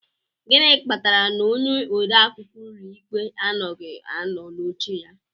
Gịnị kpatara na onye ode akwụkwọ ụlọikpe anoghị anọ n'oche ya?